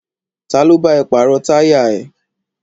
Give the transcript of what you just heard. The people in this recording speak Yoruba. Ta ló bá ẹ pàrọ̀ táyà ẹ?